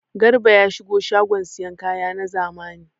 Garba ya shiga shagon sayan kaya na zamani.